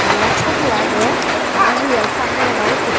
eney photo i dey aro real saap moneh naw gosso sey.